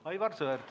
Aivar Sõerd.